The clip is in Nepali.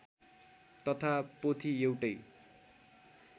तथा पोथी एउटै